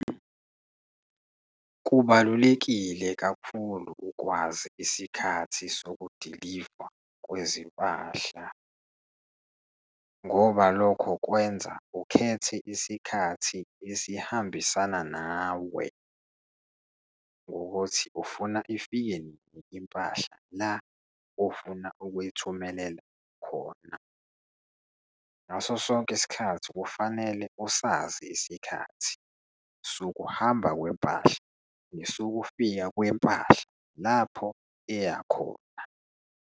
Kubalulekile kakhulu ukwazi isikhathi sokudilivwa kwezimpahla, ngoba lokho kwenza ukhethe isikhathi esihambisana nawe ngokuthi ufuna ifike nini impahla la ofuna ukuyithumelela khona. Ngaso sonke isikhathi, kufanele usazi isikhathi sokuhamba kwempahla, nesokufika kwempahla lapho eya khona.